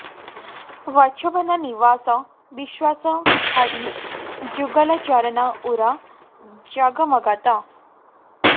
बछवन निबास बिश्वास हरि जुगल चरन उर जगमगत